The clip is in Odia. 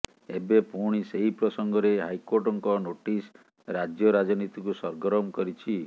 ଏବେ ପୁଣି ସେହି ପ୍ରସଙ୍ଗରେ ହାଇକୋର୍ଟଙ୍କ ନୋଟିସ ରାଜ୍ୟ ରାଜନୀତିକୁ ସରଗରମ କରିଛି